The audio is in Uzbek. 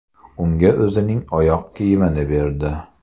Unga o‘zining oyoq kiyimini berdi.